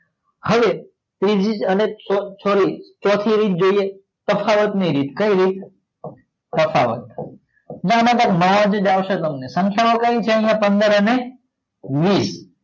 હવે ત્રીજી ની ચોથી સોરી રીત જોઈએ તફાવત ની રીત કઈ રીત તફાવત